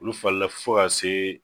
Olu falila fo ka se